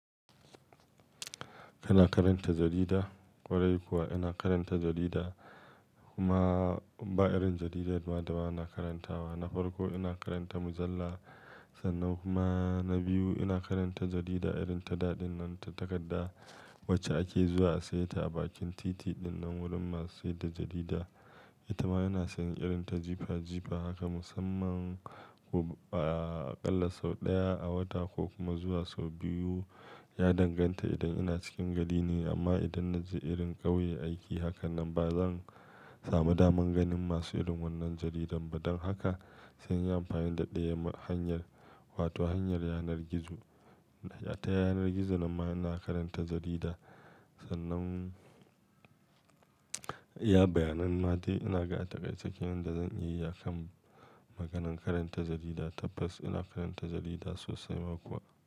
Kana karanta jarida? Kwarai kuwa ina karanta jarida kuma ba irin jaridar mada ba na karantawa. Na farko ina karanta mujalla sannan kuma na biyu ina karanta jarida irin ta daɗin nan ta takarda wacce ake zuwa a saye ta a bakin titi ɗinnan wurin masu siyar da jarida. Ita ma ina son irin ta jifa jifa haka musamman aƙalla sau ɗaya a wata ko kuma zuwa sau biyu ya danganta idan ina cikin gari ne amma idan na je irin ƙauye aiki hakan nan ba zan samu daman ganin masu irin wannan jaridan ba don haka sai inyi amfani da ɗayan hanyar wato hanyar yanar gizo. A Ta yanar gizo ma ina karanta jarida sannan iya bayanan ma dai ina ga taƙaice ke nan da zan iya yi a kan maganan karanta jarida. Tabbas ina karanta jarida sosai ma kuwa.